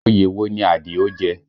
Oyè wo ni Àdìó jẹ?